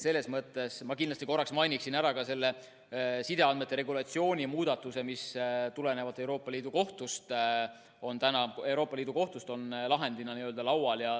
Selles mõttes ma kindlasti mainiksin ära ka sideandmete regulatsiooni muudatuse, mis tulenevalt Euroopa Liidu Kohtust on lahendina laual.